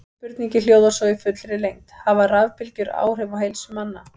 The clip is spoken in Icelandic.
Spurningin hljóðar svo í fullri lengd: Hafa rafbylgjur áhrif á heilsu manna?